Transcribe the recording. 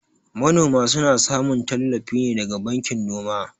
Manoma suna samun tallafi ne daga bankin noma.